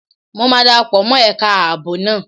Mo máa dara pọ̀ mọ́ ẹ̀ka ààbò náà